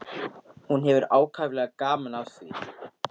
Hún hefur ákaflega gaman af því.